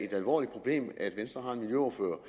et alvorligt problem at venstre har en miljøordfører